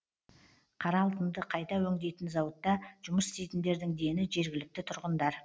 қара алтынды қайта өңдейтін зауытта жұмыс істейтіндердің дені жергілікті тұрғындар